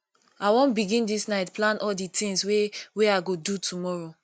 i wan begin dis night plan all di tins wey wey i go do tomorrow